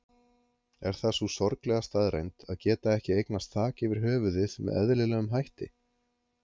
Er það sú sorglega staðreynd að geta ekki eignast þak yfir höfuðið með eðlilegum hætti?